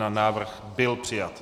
Návrh byl přijat.